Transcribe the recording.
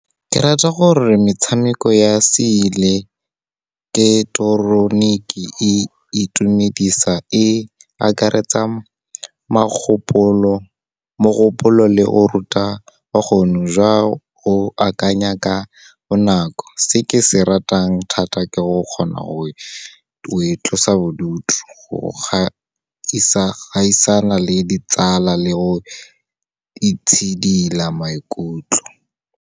Ke rata gore metshameko ya se eleketeroniki e itumedisa e akaretsa mogopolo le o ruta bokgoni jwa go akanya ka bonako. Se ke se ratang thata, ke go kgona go e tlosa bodutu, go gaisana le ditsala le go itshidila maikutlo.